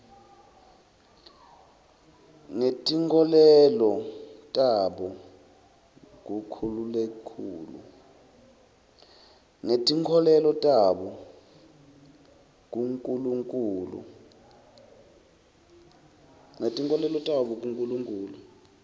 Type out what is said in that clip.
ngetinkholelo tabo kunkulunkhulu